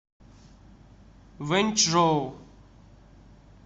вэньчжоу